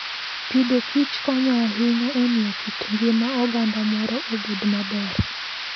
Agriculture and Foodkonyo ahinya e miyo kit ngima oganda moro obed maber.